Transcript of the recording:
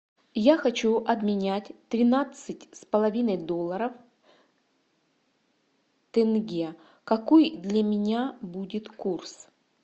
я хочу обменять тринадцать с половиной долларов тенге какой для меня будет курс